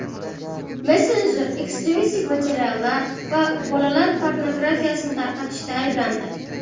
Messenjer ekstremistik materiallar va bolalar pornogorafiyasini tarqatishda ayblandi.